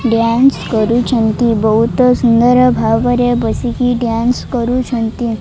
Dance କରୁଛନ୍ତି ବହୁତ ସୁନ୍ଦର ଭାବରେ ବସିକି ଡ୍ୟାନ୍ସ କରୁଛନ୍ତି।